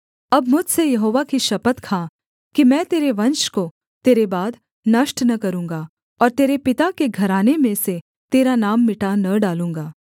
अब मुझसे यहोवा की शपथ खा कि मैं तेरे वंश को तेरे बाद नष्ट न करूँगा और तेरे पिता के घराने में से तेरा नाम मिटा न डालूँगा